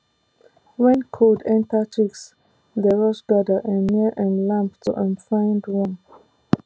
when cold enter chicks dey rush gather um near um lamp to um find warm